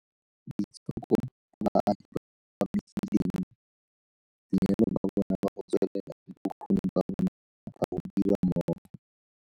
Boitshoko ba baagi ba ba amegileng, boineelo ba bona ba go tswelela le bokgoni ba bona ba go dira mmogo